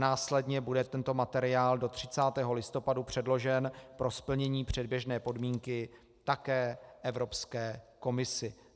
Následně bude tento materiál do 30. listopadu předložen pro splnění předběžné podmínky také Evropské komisi.